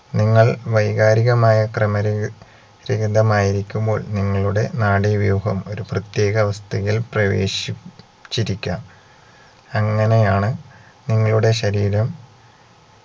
നിങ്ങൾ വൈകാരികമായ ക്രമരഹി യുക്തിരഹിതമായമ്പോൾ നിങ്ങളുടെ നാഡീവ്യൂഹം ഒരു പ്രത്യേക അവസ്ഥയിൽ പ്രവേശി ച്ചിരിക്കാം അങ്ങനെയാണ് നിങ്ങളുടെ ശരീരം